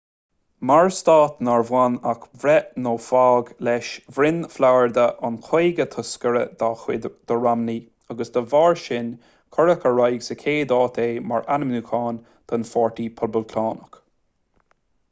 mar stát nár bhain ach breith nó fág leis bhronn florida an caoga toscaire dá chuid do romney agus dá bharr sin cuireadh ar aghaidh sa chéad áit é mar ainmniúchán don pháirtí poblachtánach